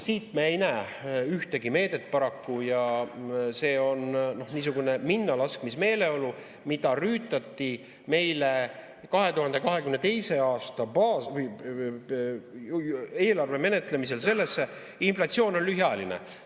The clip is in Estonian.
Siit me ei näe ühtegi meedet paraku ja see on niisugune minnalaskmismeeleolu, mida rüütati 2022. aasta eelarve menetlemisel sellesse, et inflatsioon on lühiajaline.